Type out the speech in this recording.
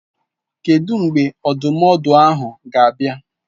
Kedu mgbe ndụmọdụ ahụ na-abịa.